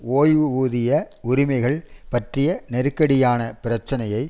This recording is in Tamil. ஓய்வூதிய உரிமைகள் பற்றிய நெருக்கடியான பிரச்சனையை